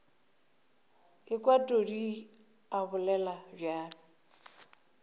ekwa todi a bolela bjalo